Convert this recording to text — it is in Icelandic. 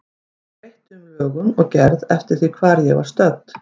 Ég breytti um lögun og gerð eftir því hvar ég var stödd.